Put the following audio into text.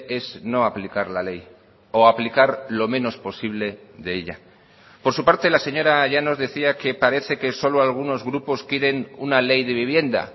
es no aplicar la ley o aplicar lo menos posible de ella por su parte la señora llanos decía que parece que solo algunos grupos quieren una ley de vivienda